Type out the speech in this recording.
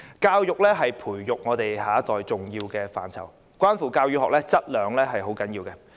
教育是培育我們下一代的重要範疇，關乎教與學質量並重。